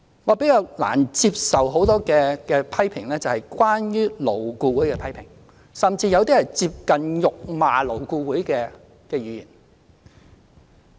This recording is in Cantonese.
我比較難接受的是針對勞顧會的批評，甚至有些是接近辱罵勞顧會的言論。